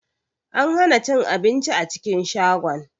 An hana cin abinci a cikin shagon.